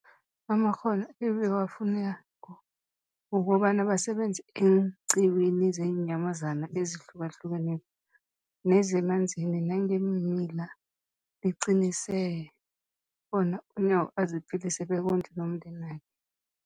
amakghono ebawafunako ukobana basebenze eenqiwini zeenyamazana ezihlukahlukeneko nezemanzini nangeemila, liqinisekisa bona uNyawo aziphilise bekondle nomndenakhe.